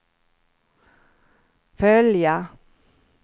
följa